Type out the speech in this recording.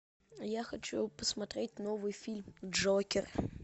я хочу посмотреть новый фильм джокер